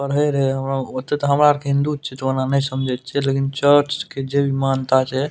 पढ़े रहे हों ओते तो हमार ओर के हिन्दू छे समझे छे लेकिन चर्च के जेई मानता छे --